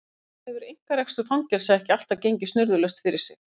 Til dæmis hefur einkarekstur fangelsa ekki alltaf gengið snurðulaust fyrir sig.